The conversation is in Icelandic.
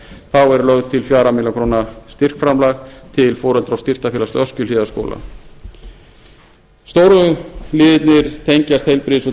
þá er lögð til fjórar milljónir króna styrkframlag til foreldra og styrktarfélags öskjuhlíðarskóla stóru liðirnir tengjast heilbrigðis og